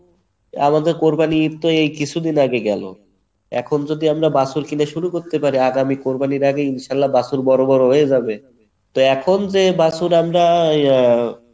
আমাদের কোরবানির ঈদ তো এই কিছুদিন আগে গেলো এখন যদি আমরা বাছুর কিনে শুরু করতে পারি আগামী কোরবানির আগে ইনশাআল্লাহ বাছুর বড়ো বড়ো হয়ে যাবে তো এখন যে বাছুর আমরা আহ